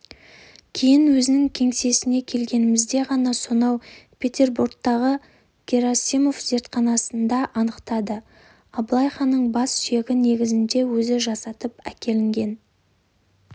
кейін өзінің кеңсесіне келгенімізде ғана сонау петербордағы герасимов зертханасында анықтатып абылай ханның бас сүйегі негізінде өзі жасатып әкелген